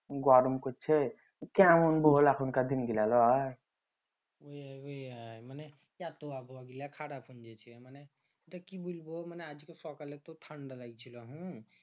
গরম করছে কেমন বল এখনকার দিনগুলা লয় ওই র ওই র মানে মানে কি বুইলবো মানে আজকে সকালে ঠান্ডা লাইগছিলো হম